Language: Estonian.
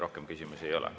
Rohkem küsimusi ei ole.